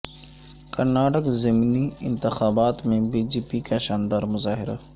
کرناٹک ضمنی انتخابات میں بی جے پی کا شاندار مظاہرہ